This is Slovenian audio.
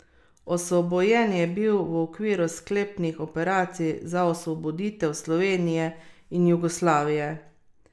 Osvobojen je bil v okviru sklepnih operacij za osvoboditev Slovenije in Jugoslavije.